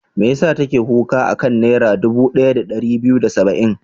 Me ya sa take kuka a kan Naira dubu ɗaya da ɗari biyu da saba'in?